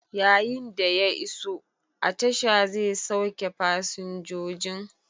Yayin da ya iso, a tasha zai sauke fasinjojin.